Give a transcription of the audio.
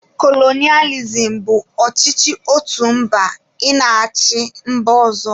Kolonịalizim bụ ọchịchị otu mba ị na-achị mba ọzọ